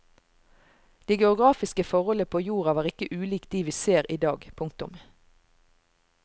De geografiske forholdene på jorda var ikke ulik de vi ser i dag. punktum